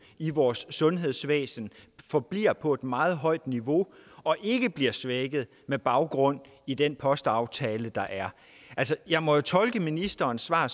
i vores sundhedsvæsen forbliver på et meget højt niveau og ikke bliver svækket med baggrund i den postaftale der er altså jeg må tolke ministerens svar